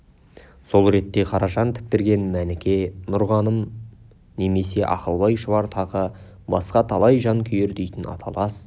сол ретте қаражан тіктірген мәніке нұрғаным немесе ақылбай шұбар тағы басқа талай жан күйер дейтін аталас